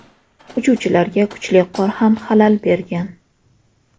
Uchuvchilarga kuchli qor ham xalal bergan.